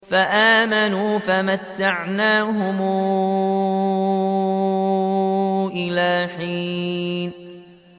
فَآمَنُوا فَمَتَّعْنَاهُمْ إِلَىٰ حِينٍ